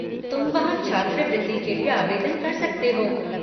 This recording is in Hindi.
तुम वहाँ छात्रवृति के लिये आवेदन कर सकते हो।